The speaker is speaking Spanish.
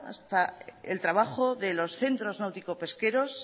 hasta el trabajo de los centros náuticos pesqueros